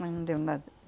Mas não deu nada.